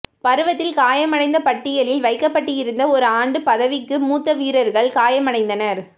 பருவத்தில் காயமடைந்த பட்டியலில் வைக்கப்பட்டிருந்த ஒரு ஆண்டு பதவிக்கு மூத்த வீரர்கள் காயமடைந்தனர்